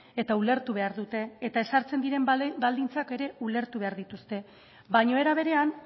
eta ulertu behar dute eta ezartzen diren baldintzak ere ulertu behar dituzte baina era berean